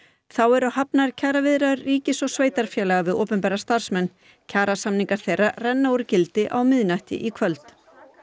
þá eru hafnar kjaraviðræður ríkis og sveitarfélaga við opinbera starfsmenn kjarasamningar þeirra renna úr gildi á miðnætti í kvöld